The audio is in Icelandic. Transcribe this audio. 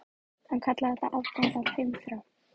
Hann kallaði þetta afgang af heimþrá.